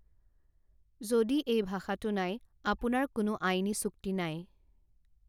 যদি এই ভাষাটো নাই, আপোনাৰ কোনো আইনী চুক্তি নাই৷